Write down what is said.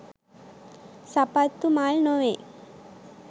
සපත්තු මල් නොවේ.